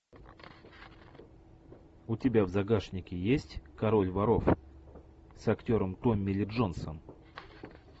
у тебя в загашнике есть король воров с актером томми ли джонсом